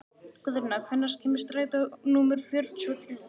Guðna, hvenær kemur strætó númer fjörutíu og þrjú?